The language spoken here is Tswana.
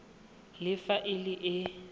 le fa e le e